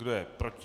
Kdo je proti?